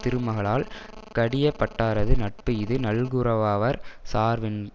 திருமகளால் கடியப்பட்டாரது நட்பு இது நல்குரவாவார் சார்வ்வ்வென்றது